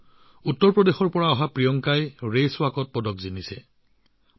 খোজ কঢ়া প্ৰতিযোগিতাত পদক লাভ কৰিছে উত্তৰপ্ৰদেশৰ বাসিন্দা প্ৰিয়ংকাই